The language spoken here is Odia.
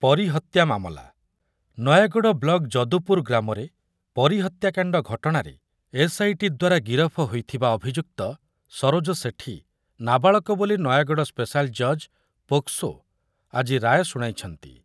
ପରୀ ହତ୍ଯା ମାମଲା, ନୟାଗଡ଼ ବ୍ଲକ ଯଦୁପୁର ଗ୍ରାମରେ ପରୀ ହତ୍ୟାକାଣ୍ଡ ଘଟଣାରେ ଏସ୍ଆଇଟି ଦ୍ୱାରା ଗିରଫ ହୋଇଥିବା ଅଭିଯୁକ୍ତ ସରୋଜ ସେଠୀ ନାବାଳକ ବୋଲି ନୟାଗଡ଼ ସ୍ପେଶାଲ ଜଜ୍ ପୋକ୍‌ସୋ ଆଜି ରାୟ ଶୁଣାଇଛନ୍ତି ।